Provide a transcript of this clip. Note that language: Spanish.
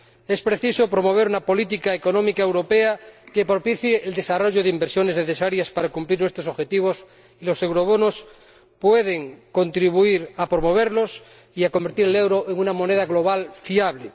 Es preciso promover una política económica europea que propicie el desarrollo de inversiones necesarias para cumplir nuestros objetivos, y los eurobonos pueden contribuir a promoverlos y a convertir el euro en una moneda global fiable.